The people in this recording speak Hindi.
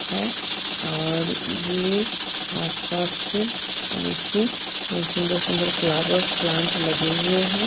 है और ये आसपास के उसके सुंदर-सुंदर फ्लावर्स प्लांट लगे हुए हैं।